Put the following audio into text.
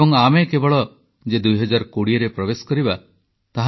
• ଜ୍ୟୋତିର୍ବିଜ୍ଞାନ କ୍ଷେତ୍ରରେ ଭାରତର ଗୌରବମୟ ଇତିହାସ ରହିଛି ପ୍ରଧାନମନ୍ତ୍ରୀ